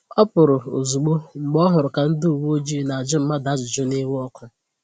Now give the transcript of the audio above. Ọ pụrụ̀ ozugbò mgbe ọ hụrụ ka ndị ụ̀wẹ̀ọjịị na-ajụ mmadụ ajụjụ n'iwe ọkụ